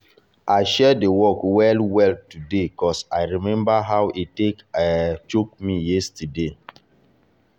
i share the work well well today as i remember how e take um choke me yesterday.